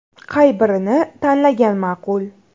Qay birini tanlagan ma’qul?.